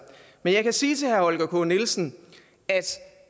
men jeg kan sige til herre holger k nielsen at